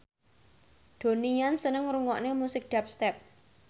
Donnie Yan seneng ngrungokne musik dubstep